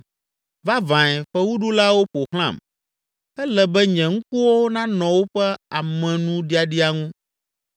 Vavãe, fewuɖulawo ƒo xlãm, ele be nye ŋkuwo nanɔ woƒe amenuɖiaɖia ŋu.